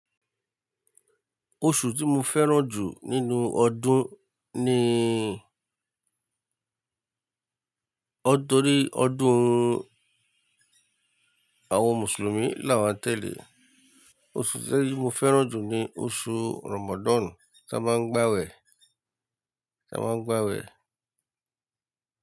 Oṣù tí mo fẹ́ràn jù nínú ọdún ni nítorí ọdún àwọn mùsùlùmí là wọ́n tẹ̀lé. Oṣù tí mo fẹ́ràn jù ni oṣù Ramadan tí a máa ń gbàwẹ̀, tí a máa ń gbàwẹ̀